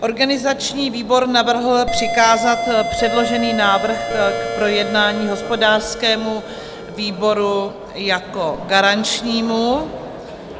Organizační výbor navrhl přikázat předložený návrh k projednání hospodářskému výboru jako garančnímu.